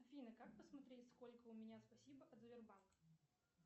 афина как посмотреть сколько у меня спасибо от сбербанка